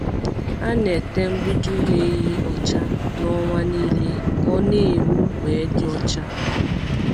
A na-ete mgbidi ụlọ ehi ọcha na ọnwa nile ka o na-enwu we dị ọcha.